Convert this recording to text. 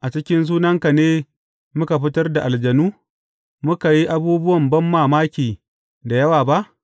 a cikin sunanka ne muka fitar da aljanu, muka yi abubuwan banmamaki da yawa ba?’